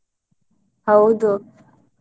ಹೌದು.